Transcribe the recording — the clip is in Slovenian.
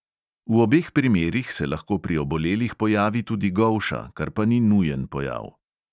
V obeh primerih se lahko pri obolelih pojavi tudi golša, kar pa ni nujen pojav.